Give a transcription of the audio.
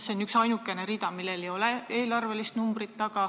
Siin on üksainukene rida, millel ei ole eelarvenumbrit taga.